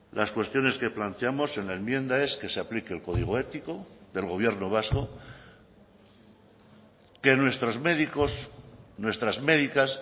las cuestiones que planteamos en la enmienda es que se aplique el código ético del gobierno vasco que nuestros médicos nuestras médicas